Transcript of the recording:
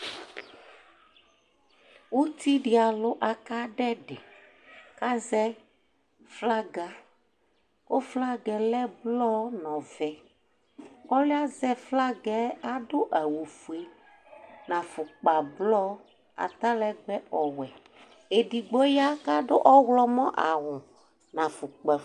Utidi alʋ akadʋ ɛdi, kʋ azɛ flaga kʋ flaga yɛ lɛ ɔlɔ nʋ ɔvɛ, alʋ yɛ azɛ flada yɛ adʋ awʋfue, nʋ afukpablɔ atalɛgbɛ ɔwɛ, edigbo ya kʋ adʋ ɔwlɔmɔ awʋ nʋ afukpafue